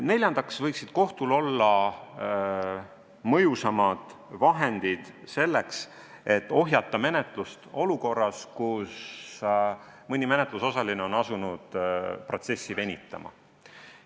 Neljandaks võiksid kohtul olla mõjusamad vahendid selleks, et ohjata menetlust olukorras, kus mõni menetlusosaline on asunud protsessi venitama.